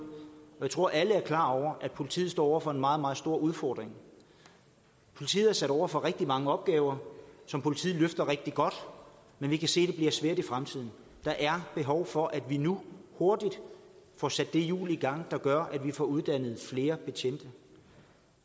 jeg tror alle er klar over at politiet står over for en meget meget stor udfordring politiet er sat over for rigtig mange opgaver som politiet løfter rigtig godt men vi kan se at svært i fremtiden der er behov for at vi nu hurtigt får sat det hjul i gang der gør at vi får uddannet flere betjente